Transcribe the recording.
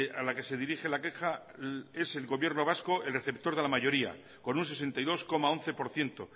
a la que se dirige la queja es el gobierno vasco el receptor de la mayoría con un sesenta y dos coma once por ciento